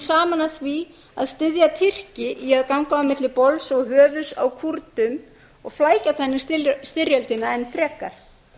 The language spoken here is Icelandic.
saman að því að styðja tyrki í að ganga á milli bols og höfuðs á kúrdum og flækja þannig styrjöldina enn frekar